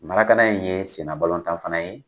in ye sen na balɔntan fana ye